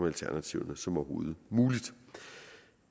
alternativerne som overhovedet muligt